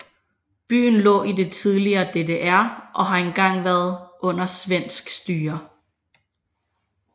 Byen lå i det tidligere DDR og har engang været under svensk styre